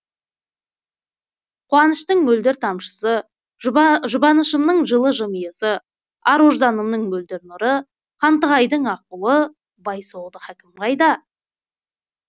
қуаныштың мөлдір тамшысы жұбанышымның жылы жымиысы ар ожданымның мөлдір нұры хантығайдың аққуы бай соғды хакім қайда